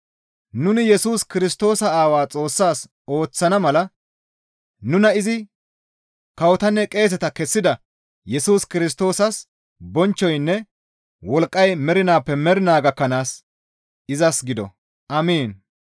Nuni Yesus Kirstoosa aawaa Xoossaas ooththana mala nuna izi kawotanne qeeseta kessida Yesus Kirstoosas bonchchoynne wolqqay mernaappe mernaa gakkanaas izas gido! Amiin.